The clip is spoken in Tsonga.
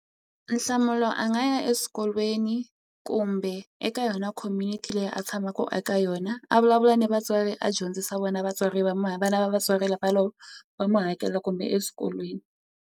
Nhlamulo a nga ya eswikolweni kumbe eka yona community leyi a tshamaku eka yona a vulavula ni vatswari a dyondzisa vona vatswari va vana va vatswari lava va mu hakela kumbe eswikolweni.